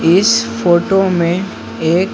इस फोटो में ए--